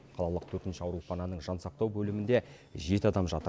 қалалық төртінші аурухананың жансақтау бөлімінде жеті адам жатыр